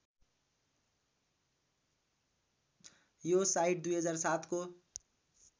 यो साइट २००७ को